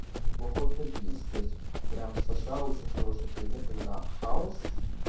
неплохо утвердились то есть прямо сша очень хороший предмет когда хаос